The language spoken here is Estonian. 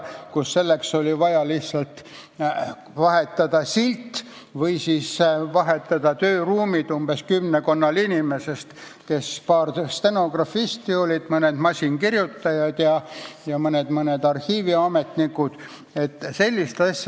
Siis oli selleks vaja lihtsalt vahetada mõned sildid ja kümmekonnal inimesel – paar stenografisti, mõned masinakirjutajad ja mõned arhiiviametnikud – oli vaja vahetada tööruumi.